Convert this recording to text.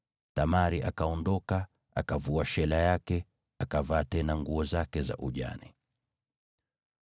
Tamari akaondoka, akavua shela yake akavaa tena nguo zake za ujane.